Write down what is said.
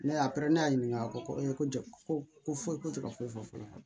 Ne y'a pɛrɛn ne y'a ɲininka a ko ko ko foyi ko tɛ ka foyi fɔ ne ɲɛna